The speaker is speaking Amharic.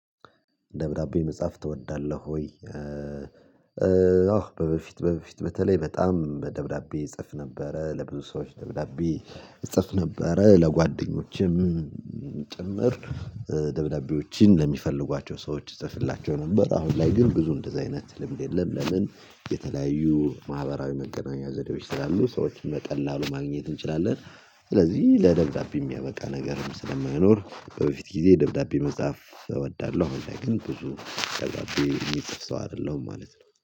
ደብዳቤ መጽሐፍ ትወዳለህ ወይ? አዎ በበፊት በበፊት በተለይ በጣም ደብዳቤ እጽፍ ነበረ ለብዙ ሰዎች ደብዳቤ እጽፍ ነበረ ለጓደኞችም ጭምር ደብዳቤዎችን ለሚፈልጓቸው ሰዎች ጽፍላቸው ነበር። አሁን ላይ ግን ብዙ እንደዚህ አይነት ልምድ የለም። ለምን የተለያዩ ማህበራዊ መገናኛ ዘዴዎች ስላሉ ሰዎችን በቀላሉ ማግኘት እንችላለን። ስለዚህ ለደብዳቤ የሚያበቃ ነገርም ስለማይኖር በፊት ጊዜ ደብዳቤ መጻፍ እወዳለሁ። አሁን ላይ ግን ብዙ ደብዳቤ ሚጽፍ ሰው አደለሁም ማለት ነው